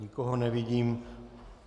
Nikoho nevidím.